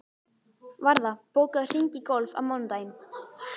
Varða, bókaðu hring í golf á mánudaginn.